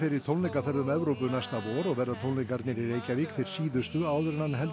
í tónleikaferð um Evrópu næsta vor og verða tónleikarnir í Reykjavík þeir síðustu áður en hann heldur